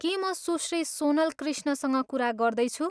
के म सुश्री सोनल कृष्णसँग कुरा गर्दैछु?